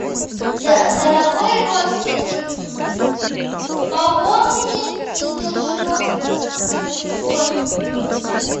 дорогой родственник пополните себе счет на телефоне